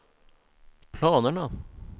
planerna